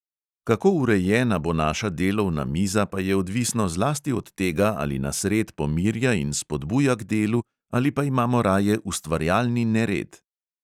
Kako urejena bo naša delovna miza, pa je odvisno zlasti od tega, ali nas red pomirja in spodbuja k delu ali pa imamo raje ustvarjalni nered.